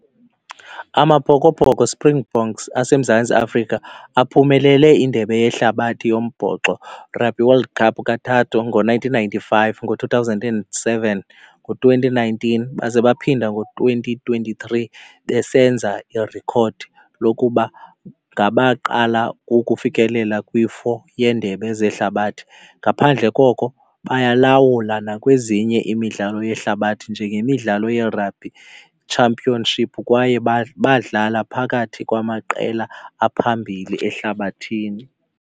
AmaBhokoBhoko Springboks aseMzantsi Afrika aphumelele indebe yehlabathi yombhoxo Rugby World Cup kathathu ngo-nineteen ninety-five, ngo-two thousand and seven, ngo-twenty nineteen baze baphinde ngo-twenty twenty-three besenza iirekhodi lokuba ngabaqala ukufikelela kwi-four yeendebe zehlabathi. Ngaphandle koko bayalawula nakwezinye imidlalo yehlabathi njengemidlalo yeRugby Championship kwaye badlala phakathi kwamaqela aphambili ehlabathini.